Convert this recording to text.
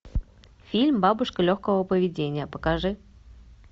фильм бабушка легкого поведения покажи